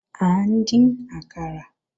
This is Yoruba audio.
À ń dín àkàrà